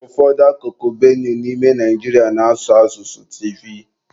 Ụfọdụ akụkụ Benue n'ime Naijiria na-asụ asụsụ Tivi.